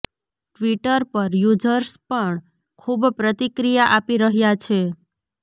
Twitter પર users પણ ખૂબ પ્રતિક્રિયા આપી રહ્યાં છે